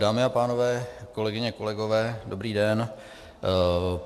Dámy a pánové, kolegyně, kolegové, dobrý den.